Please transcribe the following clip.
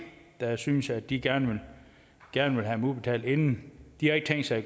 der synes at de gerne gerne vil have dem udbetalt inden de har ikke tænkt sig